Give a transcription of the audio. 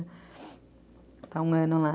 Está um ano lá.